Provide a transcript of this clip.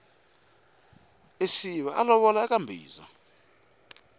isiva a lovola eka mbhiza